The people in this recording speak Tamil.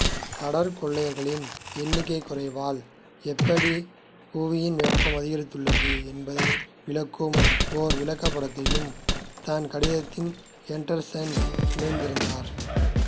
கடற்கொள்ளையர்களின் எண்ணிக்கை குறைவால் எப்படி புவியின் வெப்பம் அதிகரித்துள்ளது என்பதை விளக்க ஒரு விளக்கப்படத்தையும் தன் கடிதத்தில் எண்டர்சன் இணைத்திருந்தார்